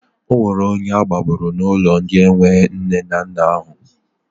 Ọ nwere onye agbagburu n'ụlọ ndị enwe nne na nna ahụ.